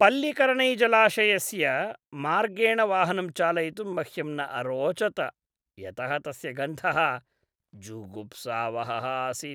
पल्लिकरनैजलाशयस्य मार्गेण वाहनं चालयितुं मह्यं न अरोचत, यतः तस्य गन्धः जुगुप्सावहः आसीत्।